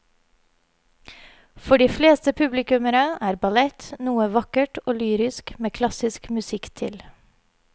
For de fleste publikummere er ballett noe vakkert og lyrisk med klassisk musikk til.